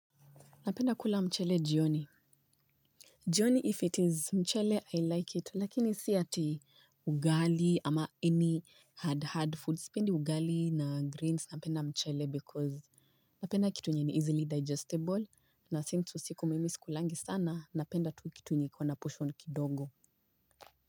Napenda kula mchele jioni. Jioni if it is mchele, I like it. Lakini si ati, ugali ama any hard hard foods. Pendi ugali na greens. Napenda mchele because, napenda kitu yenye ni easily digesteble, na since usiku mimi si kulangi sana, napenda tu kitu enye iko ana portion kidogo.